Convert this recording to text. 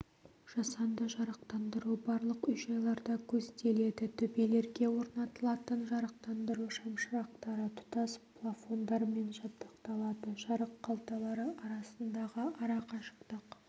жасанды жарықтандыру барлық үй-жайларда көзделеді төбелерге орнатылатын жарықтандыру шамшырақтары тұтас плафондармен жабдықталады жарық қалталары арасындағы арақашықтық